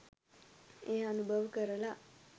එය අනුභව කරලා